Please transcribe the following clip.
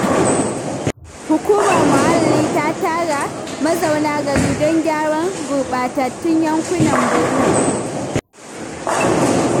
Hukumar muhalli ta tara mazauna gari don gyaran gurɓatattun yankunan birnin.